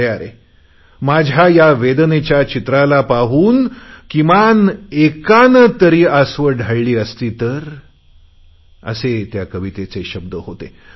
अरे अरे माझ्या या वेदनेच्या चित्राला पाहून किमान एकाने तरी आसवे ढाळली असती तर असे त्या कवितेचे शब्द होते